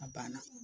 A banna